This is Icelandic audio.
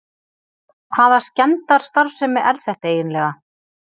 HVAÐA SKEMMDARSTARFSEMI ER ÞETTA EIGINLEGA!